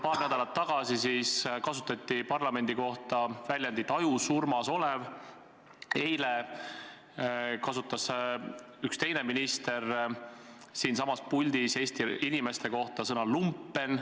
Paar nädalat tagasi kasutati parlamendi kohta väljendit "ajusurmas olev", eile kasutas üks teine minister siinsamas puldis Eesti inimeste kohta sõna "lumpen".